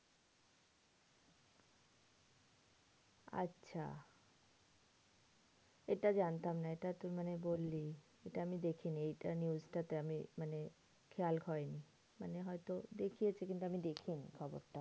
আচ্ছা এটা জানতামনা। এটা তুই মানে বললি এটা আমি দেখিনি এইটা news টা তে আমি মানে খেয়াল হয়নি। মানে হয়তো দেখিয়েছে কিন্তু আমি দেখিনি খবরটা।